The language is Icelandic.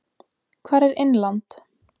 Hvar er Innland?